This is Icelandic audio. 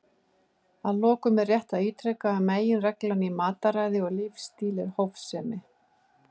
Að lokum er rétt að ítreka að meginreglan í mataræði og lífsstíl er hófsemi.